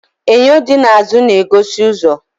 Enyo di n'azụ na-egosi ụzọ.